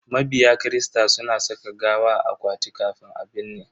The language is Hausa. Mabiya kirista suna saka gawa a akwati kafin a binne.